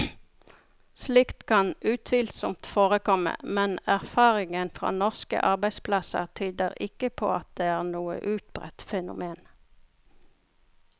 Slikt kan utvilsomt forekomme, men erfaringen fra norske arbeidsplasser tyder ikke på at det er noe utbredt fenomen.